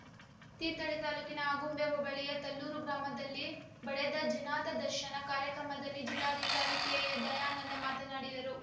ತೀರ್ಥಹಳ್ಳಿ ತಾಲೂಕಿನ ಆಗುಂಬೆ ಹೋಬಳಿಯ ತಲ್ಲೂರು ಗ್ರಾಮದಲ್ಲಿ ಬಡೆದ ಜನತಾ ದರ್ಶನ ಕಾರ್ಯಕ್ರಮದಲ್ಲಿ ಜಿಲ್ಲಾಧಿಕಾರಿ ಕೆಎ ದಯಾನಂದ ಮಾತನಾಡಿದರು